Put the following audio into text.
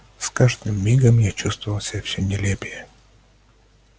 с каждым мигом я чувствовал себя всё нелепее